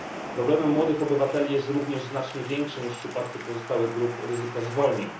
Problemem młodych obywateli jest również znacznie większe niż w przypadku pozostałych grup ryzyko zwolnień.